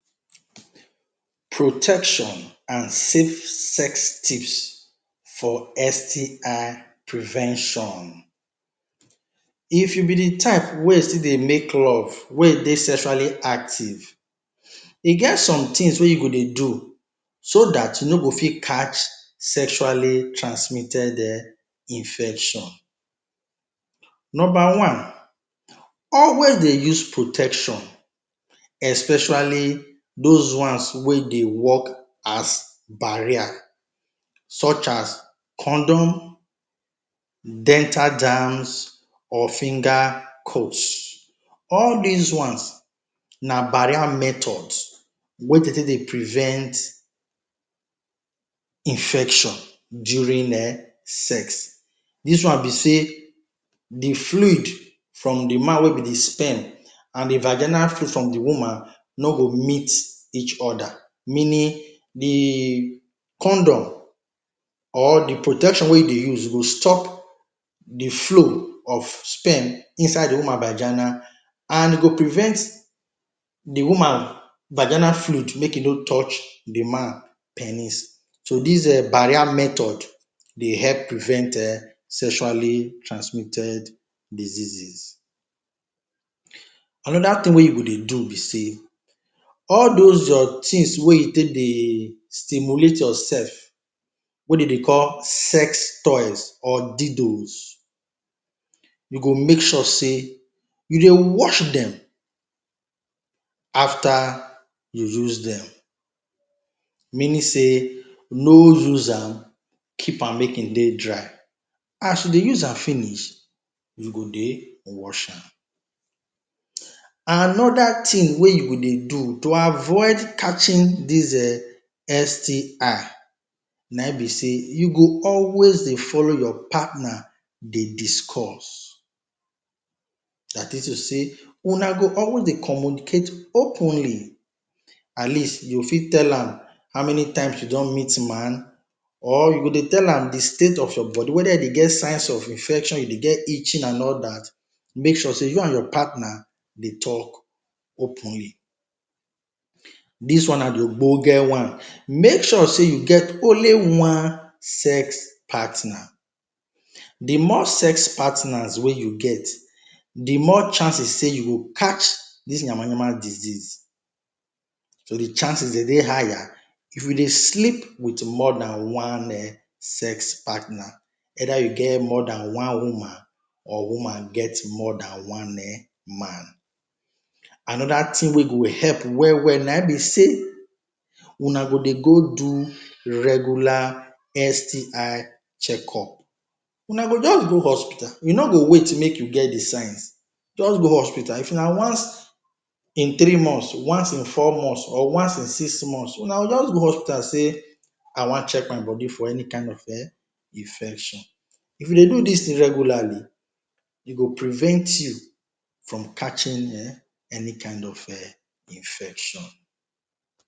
Protection and safe sex tips for STI prevention. If you be de type wey still dey make love, wey dey sexually active, e get some things wey you go dey do so dat you no go fit catch sexually transmitted um infection. Number one, always dey use protection, especially those ones wey dey work as barrier such as condoms, dental dams or finger cots. All dis ones na barrier method wey dey take dey prevent infection during sex. Dis one be sey de fluid from de man wey be de sperm and de virginal fluid from de woman no go meet each other, meaning de condom, or de protection wey dey use, e go stop de flow of sperm inside de woman virgina and e go prevent de woman virginal fluid make e no touch de man penis, so dis um barrier method dey help prevent um sexually transmitted diseases. Another thing wey you go dey do be sey, all those your things wey you take dey stimulate yoursef, wey dey dey call sex toys or dildos, you go make sure sey, you dey wash dem after you use dem. Meaning sey no use am, keep am make e dey dry, as you dey use am finish, you go dey wash am. Another thing wey you go dey do to avoid catching dis um STI na im be sey, you go always dey follow your partner dey discuss. Dat is to say, una go always dey communicate openly, at least you fit tell am how many times you don meet man or you go dey tell am de state of your body whether you dey get signs of infection, you dey get itching and all dat, make sure sey you and your partner dey talk openly. Dis one na de one, make sure sey you get only one sex partner, de more sex partners wey you get, de more chances sey you go catch dis disease. So de chances dey dey higher, if you dey sleep with more dan one um sex partner. Either you get more than one woman or woman get more dan one man. Another thing wey go help well well na im be sey, una go dey go do regular STI checkup. una go just go hospital, you no go wait make you get de signs, just go hospital, if na once in three months, once in four months or once in six months, una go just go hospital sey I want check my body for any kind of um infection. If you dey do dis thing regularly, e go prevent you from catching um any kind of um infection.